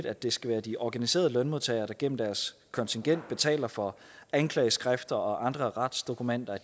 at det skal være de organiserede lønmodtagere der gennem deres kontingent betaler for at anklageskrifter og andre retsdokumenter